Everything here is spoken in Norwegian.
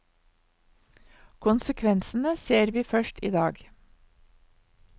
Konsekvensene ser vi først i dag.